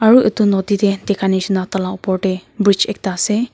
aru itu nodi tey dikha nishina taila opor tey bridge ekta ase.